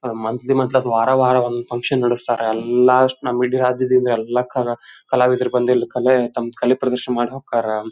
ಅದ್ monthly monthly ವಾರ ವಾರ ಒಂದ್ ಫನ್ಕ್ಷನ್ ನಡೆಸ್ತಾರ ಎಲ್ಲಾ ಇಡೀ ದಿಂದ ಎಲ್ಲಾ ಕಲ್ ಕಲಾವಿದರು ಬಂದು ಇಲ್ಲಿ ತಮ್ಮ ಕಲೆ ಪ್ರದರ್ಶನ ಮಾಡಿ ಹೋಗ್ತಾರಾ.